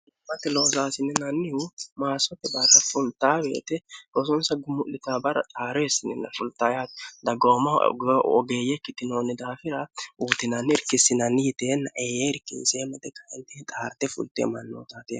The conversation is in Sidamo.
hmate loosaasininannihu maasote barra fultaaweete gosonsa gummu'lita bara xaareessininna fulxayati daggaomahu ogeeyye kitinoonni daafira uutinanni irkissinanni yiteenna eee irkinseemma dekainti xaarte fulteemmannootaate